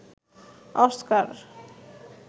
Oscar